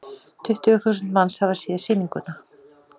Tuttugu þúsund manns hafa séð sýninguna.